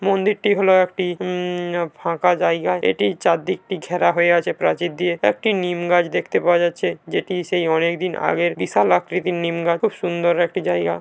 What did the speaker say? মন্দিরটি হল একটি হুম-ম ফাঁকা জায়গায়। এটির চার দিকটি ঘেরা হয়ে আছে প্রাচীর দিয়ে। একটি নিম গাছ দেখতে পাওয়া যাচ্ছে। যেটি সেই অনেকদিন আগের বিশাল আকৃতির নিমগাছ। খুব সুন্দর একটি জায়গা।